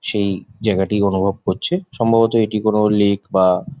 সেই জায়গাটি অনুভব করছে সম্ববত এইটি কোনো লেক বা ।